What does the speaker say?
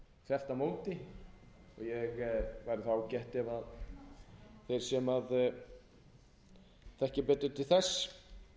á móti og væri ágætt ef þeir sem þekkja betur til þess